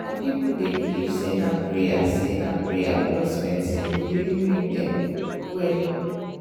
some people dey believe say na prayer say na prayer plus medicine go really make dem well.